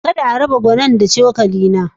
Kar a raba gwanoni na da cokali na.